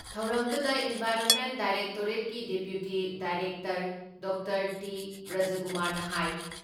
ꯊꯧꯔꯝꯗꯨꯗ ꯏꯟꯚꯥꯏꯔꯣꯟꯃꯦꯟ ꯗꯥꯏꯔꯦꯛꯇꯣꯔꯦꯠꯀꯤ deputy director doctor T. ꯕ꯭ꯔꯖꯀꯨꯃꯥꯔꯅ ꯍꯥꯏ